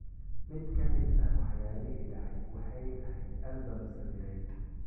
Mid ka mid ah waxyaalihii dhacay waxay ahayd albam sawireed.